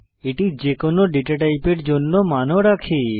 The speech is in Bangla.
এটি যেকোনো ডেটা টাইপের জন্য মানও রাখে